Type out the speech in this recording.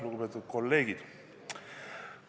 Lugupeetud kolleegid!